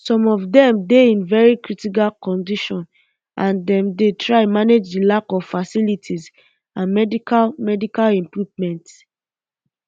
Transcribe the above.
some of dem dey in very critical condition and dem dey um try manage di lack of facilities and um medical medical equipment